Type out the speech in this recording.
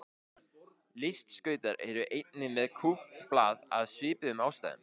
Listskautar eru einnig með kúpt blað af svipuðum ástæðum.